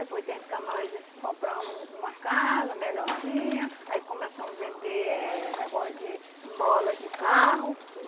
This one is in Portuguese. Aí foi o tempo que nós compramos uma casa, melhorzinha, aí começamos vender eh negócio de mola de carro.